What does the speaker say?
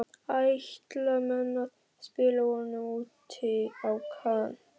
Ætla menn að spila honum úti á kanti?